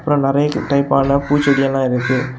அப்புறம் நறைய டைப் ஆன பூச்செடியெல்லாம் இருக்குது.